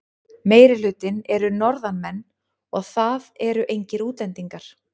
Meirihlutinn eru Norðanmenn og það eru engir útlendingar.